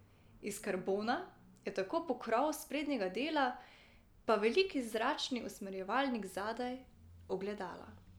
Iz karbona je tako pokrov sprednjega dela, pa veliki zračni usmerjevalnik zadaj, ogledala ...